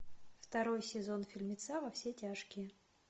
второй сезон фильмеца во все тяжкие